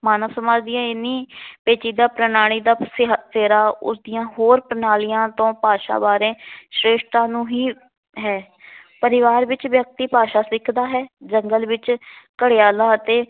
ਮਾਨਵ ਸਮਾਜ ਦੀਆਂ ਇਹਨੀ ਪੇਚੀਦਾ ਪ੍ਰਣਾਲੀ ਦਾ ਸਿ ਸਿਹਰਾ ਉਸਦੀਆਂ ਹੋਰ ਪ੍ਰਣਾਲੀਆਂ ਤੋਂ ਭਾਸ਼ਾ ਬਾਰੇ ਸ਼੍ਰੇਸ਼ਟਾ ਨੂੰ ਹੀ ਹੈ। ਜੰਗਲ ਵਿੱਚ ਘੜਿਆਲਾ ਅਤੇ